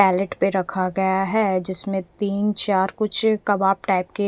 pellet पे रखा गया है जिसमे तीन चार कुछ कवाब टाइप के--